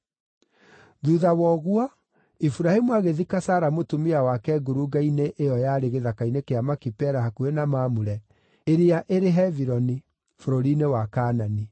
Thuutha wa ũguo, Iburahĩmu agĩthika Sara mũtumia wake ngurunga-inĩ ĩyo yarĩ gĩthaka-inĩ kĩa Makipela hakuhĩ na Mamure (ĩrĩa ĩrĩ Hebironi), bũrũri-inĩ wa Kaanani.